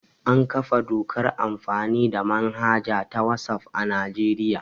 An kafa dokar amfani the manhaja ta wasaf a Najeriya